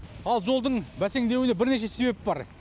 ал жолдың бәсеңдеуіне бірнеше себеп бар